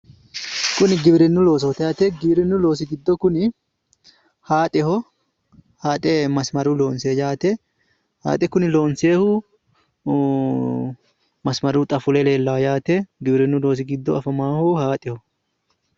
Kuni giwirinnu loosooti yaate giwirinnu loosi giddo kuni hayixeho hayixe masimaruyi loonsoyi yaate hayixe kune loonsoyihu masimaruyi xa fule leellawo yaate giwirinnu loosi giddo afamawoho hayixeho.